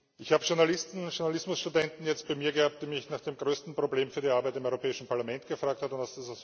Ich habe Journalisten, Journalismus Studenten jetzt bei mir gehabt, die mich nach dem größten Problem für die Arbeit im Europäischen Parlament gefragt haben.